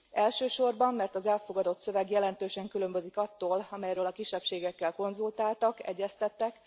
Elsősorban, mert az elfogadott szöveg jelentősen különbözik attól, amelyről a kisebbségekkel konzultáltak, egyeztettek.